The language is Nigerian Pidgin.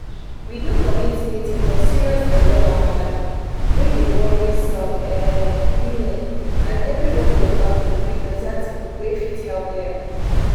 we do community meeting for serious belle wahala wey dey worry some women and everybody waka go with better thing wey fit help dem.